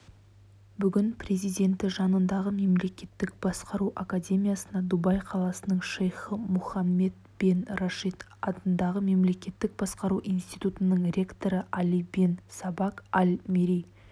бүгін президенті жанындағы мемлекеттік басқару академиясына дубай қаласының шейхы мұхаммед бен рашид атындағы мемлекеттік басқару институтының ректоры али бен сабаг аль-мерри